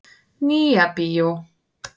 Nýja bíó.